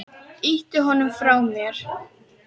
Ýti honum frá mér.